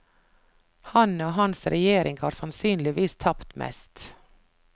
Han og hans regjering har sannsynligvis tapt mest.